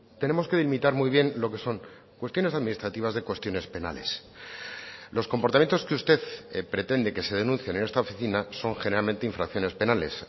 tenemos que delimitar muy bien lo que son cuestiones administrativas de cuestiones penales los comportamientos que usted pretende que se denuncien en esta oficina son generalmente infracciones penales